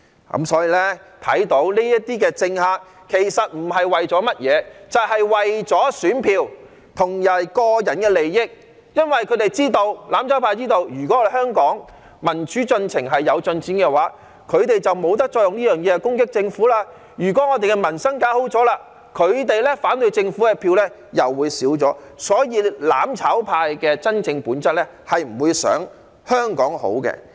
由此可見，這些政客不是為了甚麼，就只是為了選票及個人利益，因為"攬炒派"知道，如果香港民主進程有進展，他們便不能藉此攻擊政府；如果搞好了民生，他們反對政府的票便會減少，所以"攬炒派"的真正本質是不會想香港好的。